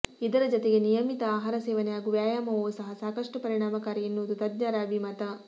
ಇದರ ಜತೆಗೆ ನಿಯಮಿತ ಆಹಾರ ಸೇವನೆ ಹಾಗೂ ವ್ಯಾಯಾಮವೂ ಸಹ ಸಾಕಷ್ಟು ಪರಿಣಾಮಕಾರಿ ಎನ್ನುವುದು ತಜ್ಞರ ಅಭಿಮತ